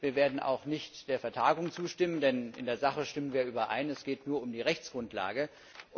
Wir werden auch nicht der Vertagung zustimmen, denn in der Sache stimmen wir darin überein, dass es nur um die Rechtsgrundlage geht.